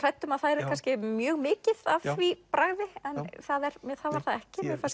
hrædd um að það yrði kannski mjög mikið af því bragði en það var það ekki mér fannst